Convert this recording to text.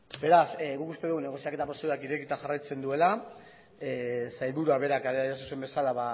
beraz guk uste dugu negoziaketa prozedurak irekita jarraitzen duela sailburuak berak adierazi zuen bezala